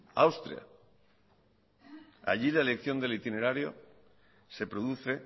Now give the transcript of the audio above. austria allí la elección del itinerario se produce